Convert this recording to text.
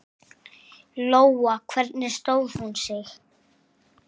Lóa: Hvernig stóð hún sig?